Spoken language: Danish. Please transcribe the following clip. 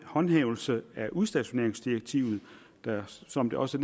håndhævelse af udstationeringsdirektivet der som det også